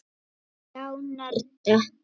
Já, nörda.